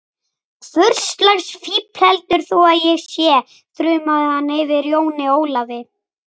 Hvurslags fífl heldur þú að ég sé, þrumaði hann yfir Jóni Ólafi.